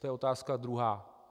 To je otázka druhá.